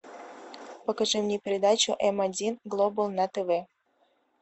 покажи мне передачу м один глобал на тв